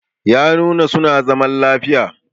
yanuwa suna zaman lafiya